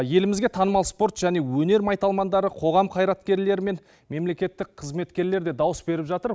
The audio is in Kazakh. елімізде танымал спорт және өнер майталмандары қоғам қайраткерлері мен мемлекеттік қызметкерлер де дауыс беріп жатыр